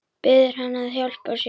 Biður hann að hjálpa sér.